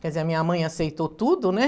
Quer dizer, a minha mãe aceitou tudo, né?